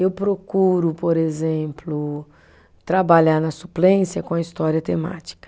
Eu procuro, por exemplo, trabalhar na suplência com a história temática.